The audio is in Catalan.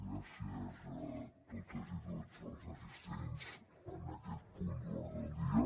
gràcies a totes i tots els assistents en aquest punt de l’ordre del dia